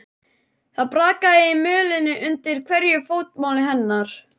Það brakaði í mölinni undir hverju fótmáli hennar.